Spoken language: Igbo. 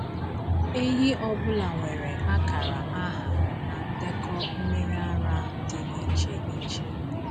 Ehi ọ bụla nwere akara aha na ndekọ mmiri ara dị iche iche.